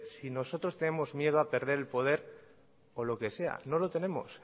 si nosotros tenemos miedo a perder el poder o lo que sea no lo tenemos